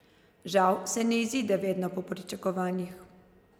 Žal se ne izide vedno po pričakovanjih.